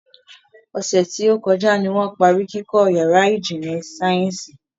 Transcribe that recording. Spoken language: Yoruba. Ọ̀sẹ̀ tí ó kọjá ní wọ́n parí kíkọ́ yàrá ìjìnlẹ̀ sáyẹ́nsì